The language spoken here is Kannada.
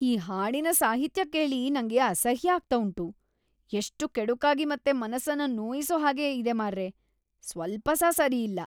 ಈ ಹಾಡಿನ ಸಾಹಿತ್ಯ ಕೇಳಿ ನಂಗೆ ಅಸಹ್ಯ ಆಗ್ತಾ ಉಂಟು. ಎಷ್ಟು ಕೆಡುಕಾಗಿ ಮತ್ತೆ ಮನಸ್ಸನ್ನ ನೋಯಿಸೋ ಹಾಗೆ ಇದೆ ಮಾರ್ರೇ.. ಸ್ವಲ್ಪಸಾ ಸರಿಯಿಲ್ಲ.